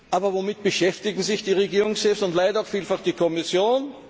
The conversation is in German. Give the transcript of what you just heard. Aber womit beschäftigen sich die Regierungschefs und leider auch vielfach die Kommission?